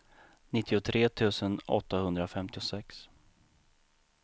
nittiotre tusen åttahundrafemtiosex